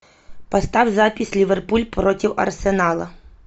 поставь запись ливерпуль против арсенала